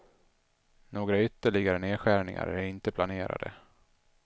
Några ytterligare nedskärningar är inte planerade.